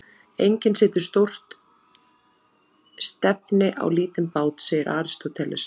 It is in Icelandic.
Enginn setur stórt stefni á lítinn bát, segir Aristóteles.